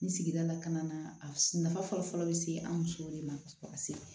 Ni sigida la ka na a nafa fɔlɔ-fɔlɔ bɛ se an musow de ma se